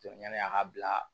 Jɔ yanni a ka bila